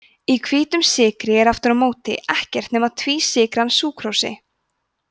í hvítum sykri er aftur á móti ekkert nema tvísykran súkrósi